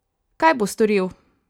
Kaj bo storil?